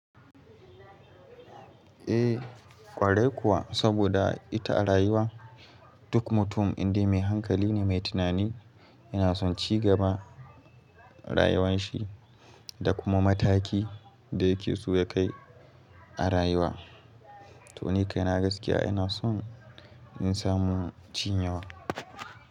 Eh kwarai kuwa, saboda ita rayuwa duk mutum indai mai hankali ne, mai tunani yana son cigaba rayuwan shi da kuma mataki da ya ke so ya kai a rayuwa. To ni kaina gaskiya ina son in samu cin yawa.